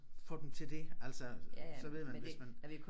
Få dem til det altså så ved man hvis man